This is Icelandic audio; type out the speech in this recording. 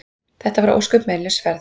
Þetta var ósköp meinlaus ferð.